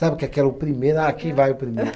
Sabe que aqui é o primeiro, ah quem vai o primeiro.